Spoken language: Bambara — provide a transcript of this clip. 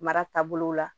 Mara taabolo la